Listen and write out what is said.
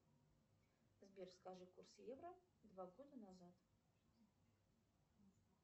сбер скажи курс евро два года назад